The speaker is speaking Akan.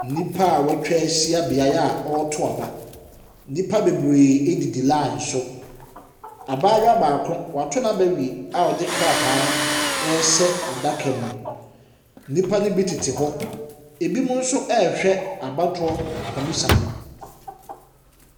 Nnipa wɔatwa ahyia beaeɛ a wɔreto aba. Nnipa bebree ɛdidi line so. Abaayewa baako, wato n’aba awie a ɔde krataa no ɛrehyɛ adaka mu. Nnipa ne bi tete hɔ, ɛbi nso ɛrehwɛ abatoɔ komisa no.